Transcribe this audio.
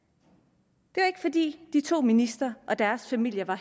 det var ikke fordi de to ministre og deres familier var